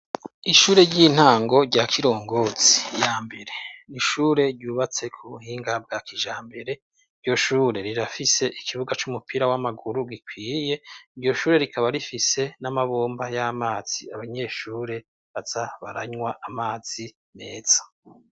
ishure ry'intango rya kirongotsi ya mbere n'ishure ryubatse ku buhinga bwa kijambere ryoshure rirafise ikibuga c'umupira w'amaguru gikwiye iryo shure rikaba rifise n'amabomba y'amazi abanyeshure bazabaranywa amazi meza